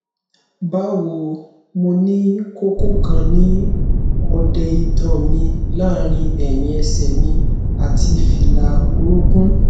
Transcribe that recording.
bawo mo ni koko kan ni ọ̀dẹ itan mi laarin ẹhin ẹsẹ mi ati fila orokun